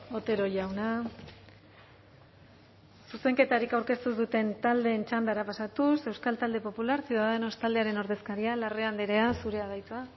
otero jauna zuzenketarik aurkeztu ez duten taldeen txandara pasatuz euskal talde popular ciudadanos taldearen ordezkaria larrea andrea zurea da hitza